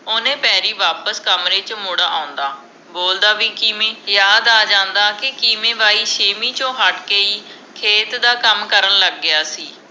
ਓਹਨੇ ਪੈਰੀ ਵਾਪਿਸ ਕਮਰੇ ਚ ਮੁੜ ਆਉਂਦਾ ਬੋਲਦਾ ਵੀ ਕਿਮੇ ਯਾਦ ਆ ਜਾਂਦਾ ਕਿ ਕਿਵੇਂ ਬਾਈ ਸੇਵੀਂ ਤੋਂ ਹੱਟ ਕੇ ਹੀ ਖੇਤ ਦਾ ਕੱਮ ਕਰਨ ਲੱਗ ਗਿਆ ਸੀ